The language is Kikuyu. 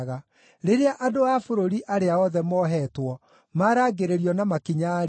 Rĩrĩa andũ a bũrũri arĩa othe mohetwo maarangĩrĩrio na makinya-rĩ,